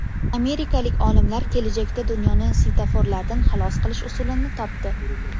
Amerikalik olimlar kelajakda dunyoni svetoforlardan xalos qilish usulini topdi.